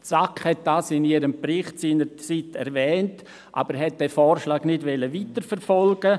Die SAK erwähnte dies seinerzeit in ihrem Bericht, wollte diesen Vorschlag aber nicht weiterverfolgen.